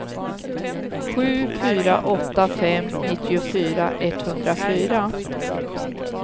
sju fyra åtta fem nittiofyra etthundrafyra